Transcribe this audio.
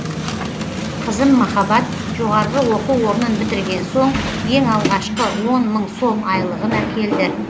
қызым махаббат жоғарғы оқу орнын бітірген соң ең алғашқы он мың сом айлығын әкелді